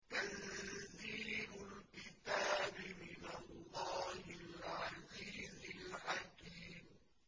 تَنزِيلُ الْكِتَابِ مِنَ اللَّهِ الْعَزِيزِ الْحَكِيمِ